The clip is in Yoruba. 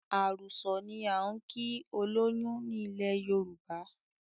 Àrùsọ̀ ni á ń kí olóyún ni ilẹ̀ Yorùbá